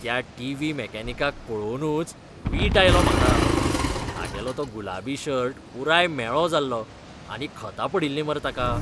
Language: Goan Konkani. त्या टीव्ही मॅकॅनिकाक पळोवनूच वीट आयलो म्हाका. तागेलो तो गुलाबी शर्ट पुराय म्हेळो जाल्लो आनी खतां पडिल्लीं मरे ताका.